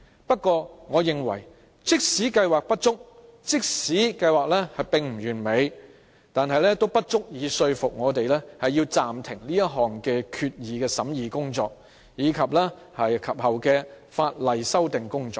不過，我認為即使計劃有不足，即使計劃不完美，但也不足以說服我們暫停這項決議案的審議工作，以及其後的法例修訂工作。